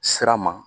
Sira ma